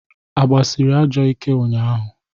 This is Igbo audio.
A gbasịrị ajọ ike ụnyaahụ?